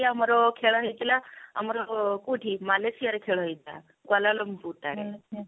ଆମର ଖେଳ ହେଇଥିଲା ଆମର କଉଠି ମାଲେସିଆ ରେ ଖେଳ ହେଇଥିଲା କ୍ଵାଲାଲମପୁର ଠାରେ